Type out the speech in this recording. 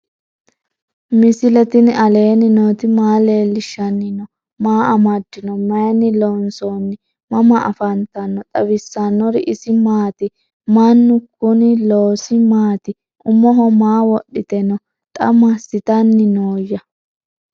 misile tini alenni nooti maa leelishanni noo? maa amadinno? Maayinni loonisoonni? mama affanttanno? xawisanori isi maati? mannu kooni loosi maati? umoho maa wodhite noo? xa maasittanni nooya?